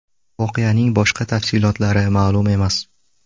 Voqeaning boshqa tafsilotlari ma’lum emas.